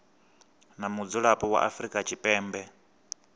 na mudzulapo wa afrika tshipembe